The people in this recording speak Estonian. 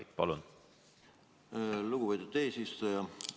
Aitäh, lugupeetud eesistuja!